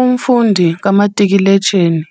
Umfundi kamatikiletsheni,